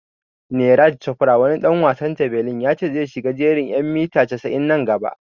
Neeraj Chofra wani ɗan wasan jabelin ya ce zai shiga jerin en mita casa'in nan gaba